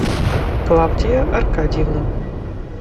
клавдия аркадьевна